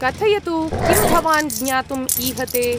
कथयतु, किं भवान् ज्ञातुम् ईहते?